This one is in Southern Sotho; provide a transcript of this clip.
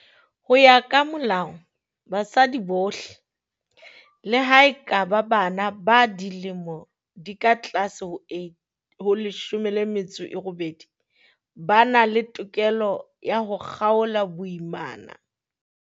Ho ya ka Molao, basadi bohle, le ha e ka ba bana ba dilemo di ka tlase ho leshome le metso e robedi, ba na le tokelo ya ho kgaola boimana.